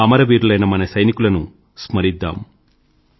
అమరవీరులైన మన సైనికులను స్మరిద్దాం